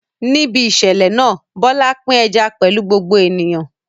Níbi ìṣẹ̀lẹ̀ náà, Bola pín ẹja pẹ̀lú gbogbo ènìyàn.